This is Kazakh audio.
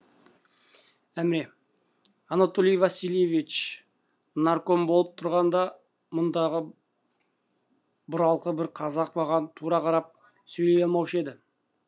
әміре анатолий васильевич нарком болып тұрғанда мұндағы бұралқы бір қазақ маған тура қарап сөйлей алмаушы еді